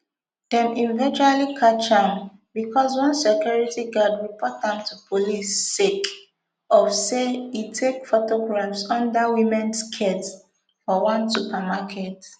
dem eventually catch am becos one security guard report am to police sake of say e take photographs under women skirts for one supermarket